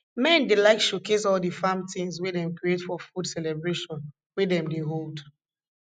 men dey like showcase all di farm things wey dem create for food celebration wey dem dey hold